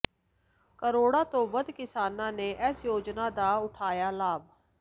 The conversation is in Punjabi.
ਕਰੋੜਾਂ ਤੋਂ ਵੱਧ ਕਿਸਾਨਾਂ ਨੇ ਇਸ ਯੋਜਨਾ ਦਾ ਉਠਾਇਆ ਲਾਭ